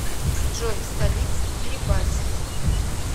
джой столица кирибати